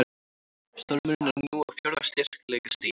Stormurinn er nú á fjórða styrkleikastigi